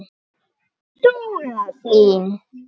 Dóra Hlín.